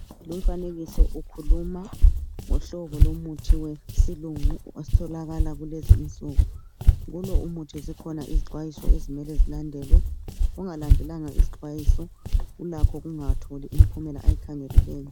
Lumfanekiso ukhuluma ngohlobo lomuthi wesilungu otholakala kulezinsuku, kulo umuthi zikhona izixwayiso ezimele zilandelwe, ongalandelanga izixwayiso ulakho ukungatholi imphumela ayikhangeleleyo.